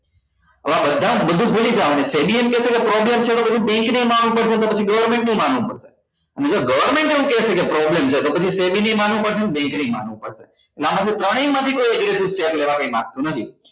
હવે આ બધા બધું ભૂલી જ જવા ના છે કેસે કે problems છે તો પહી bank ને માનવું પડશે ને પછી government ને માનવું પડશે અને જો government એવું કહેશે કે problems છે પછી નેય માનવું પડશે ને bank નેય માનવું પડશે ને આ બધું ત્રણેય માંથી કોઈએ કરવા માંગતું નથી